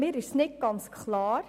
Dies ist mir nicht ganz klar.